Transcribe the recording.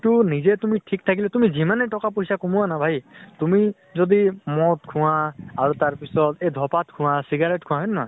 সেইটো নিজে তুমি ঠিক থাকিলে তুমি যিমানে টকা পইচা কমোৱা না ভাই, তুমি যদি মদ খোৱা, আৰু তাৰ পিছত এই ধ্পাত খোৱা, চিগাৰেত খোৱা হয় নে নহয়?